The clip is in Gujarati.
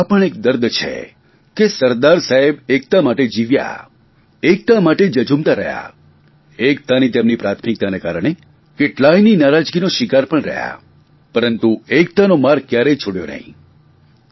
પરંતુ આ પણ એક દર્દ છે કે સરદાર સાહેબ એકતા માટે જીવ્યા એકતા માટે ઝઝુમતા રહ્યા એકતાની તેમની પ્રાથમિકતાના કારણે કેટલાંયની નારાજીનો શિકાર પણ રહ્યા પરંતુ એકતાનો માર્ગ કયારેય છોડ્યો નહીં